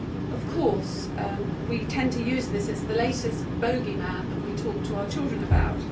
Of course we tend to use this, it is the latest bogeyman that we talk to our children about.